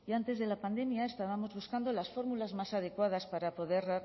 antes de la pandemia estábamos buscando las fórmulas más adecuadas para poder